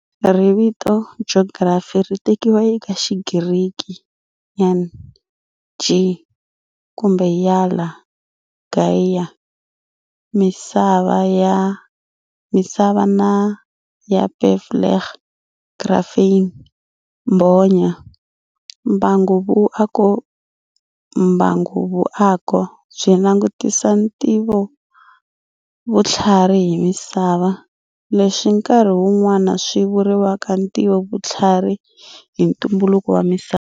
Riviti geography ri tekiwa eka Xigiriki γη, ge, kumbe γαια, gaia, Misava, na γραφειν, graphein, mbhonya. Mbanguvuako byi langutisa Ntivovuthlarhi hi Misava, leswi nkarhi wu nwana swi vuriwaka Ntivovuthllarhi hi ntumbuluko wa misava.